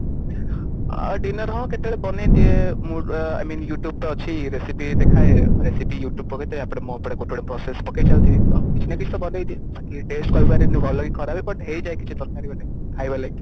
ଆଁ dinner ହଁ କେତେବେଳେ ବନେଇ ଦିଏ mood I mean you tube ତ ଅଛି recipe ଦେଖାଏ recipe you tube ତାପରେ ମୁଁ ଏପଟେ ଗୋଟେ ଗୋଟେ process ପକେଇ ଚାଲିଥିବି ତ କିଛି ନା କିଛି ତ ବନେଇ ଦିଏ ବାକି taste କହିପାରିବିନି ଭଲ କି ଖରାପ but ହେଇଯାଏ କିଛି ତରକାରୀ ଗୋଟେ ଖାଇବା ଲାଗି